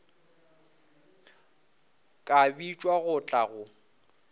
ka bitšwa go tla go